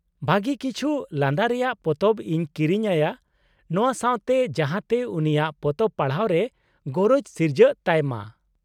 -ᱵᱷᱟᱹᱜᱤ ᱠᱤᱪᱷᱩ ᱞᱟᱸᱫᱟ ᱨᱮᱭᱟᱜ ᱯᱚᱛᱚᱵ ᱤᱧ ᱠᱤᱨᱤᱧ ᱟᱭᱟ ᱱᱚᱶᱟ ᱥᱟᱶᱛᱮ, ᱡᱟᱦᱟᱸᱛᱮ ᱩᱱᱤᱭᱟᱜ ᱯᱚᱛᱚᱵ ᱯᱟᱲᱦᱟᱣ ᱨᱮ ᱜᱚᱨᱚᱡᱽ ᱥᱤᱨᱡᱟᱹᱜ ᱛᱟᱭ ᱢᱟ ᱾